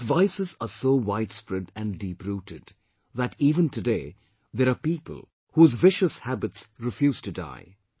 But vices are so widespread and deeprooted that even today there are people whose vicious habits refuse to die